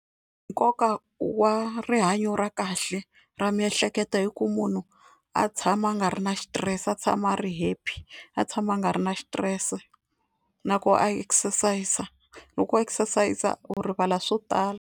Nkoka wa rihanyo ra kahle ra miehleketo hi ku munhu a tshama a nga ri na xitirese a tshama a ri happy, a tshama a nga ri na xitirese na ku a exercise loko a exercise u rivala swo tala.